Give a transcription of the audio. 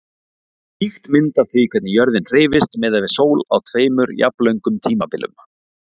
Ýkt mynd af því hvernig jörðin hreyfist miðað við sól á tveimur jafnlöngum tímabilum.